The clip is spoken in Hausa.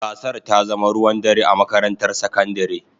Gasar ta zama ruwan dare a makarantar sakandare.